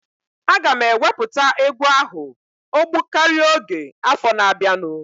Aga m ewepụta egwu ahụ ogbụkaria oge afọ na-abianu